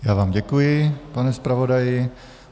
Já vám děkuji, pane zpravodaji.